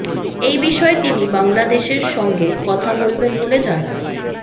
এই বিষয়ে তিনি বাংলাদেশের সঙ্গে কথা বলবেন বলে জানান